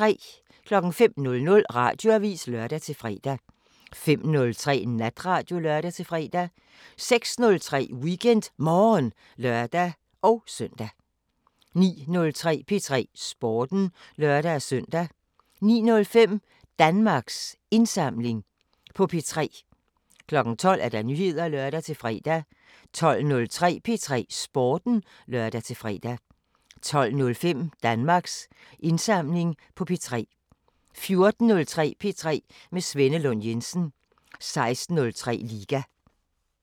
05:00: Radioavisen (lør-fre) 05:03: Natradio (lør-fre) 06:03: WeekendMorgen (lør-søn) 09:03: P3 Sporten (lør-søn) 09:05: Danmarks Indsamling på P3 12:00: Nyheder (lør-fre) 12:03: P3 Sporten (lør-fre) 12:05: Danmarks Indsamling på P3 14:03: P3 med Svenne Lund Jensen 16:03: Liga